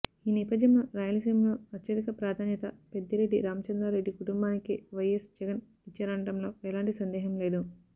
ఈ నేపథ్యంలో రాయలసీమలో అత్యధిక ప్రాధాన్యత పెద్దిరెడ్డి రామచంద్రారెడ్డి కుటుంబానికే వైఎస్ జగన్ ఇచ్చారనడంలో ఎలాంటి సందేహం లేదు